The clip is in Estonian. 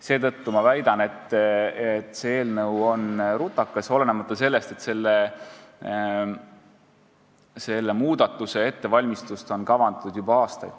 Seetõttu ma väidan, et see eelnõu on rutakas, kuigi seda muudatust on kavandatud juba aastaid.